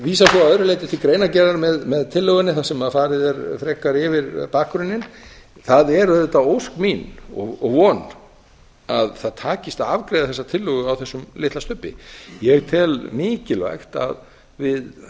vísa svo að öðru leyti til greinargerðar með tillögunni þar sem farið er frekar yfir bakgrunninn það er auðvitað ósk mín og von að það takist að afgreiða þessa tillögu á þessum litla stubbi ég tel mikilvægt að við